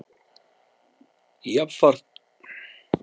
Jafnframt hlýtur mat á þessu að koma til kasta dómstóla eftir atvikum.